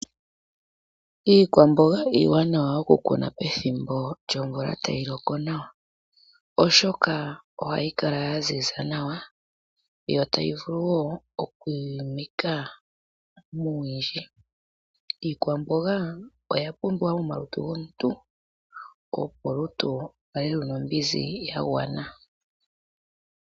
Iikwamboga iiwanawa oku kuna pethimbo lyomvula tayi loko nawa oshoka ohayi kala yanzinza nawa yo tayi vuluwo okwimika muuwindji iikwamboga oya pumbwa momalutu gomuntu opo olutu lukale luna ombinzi yagwana.